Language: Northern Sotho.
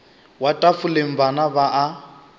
wa tafoleng bana ba a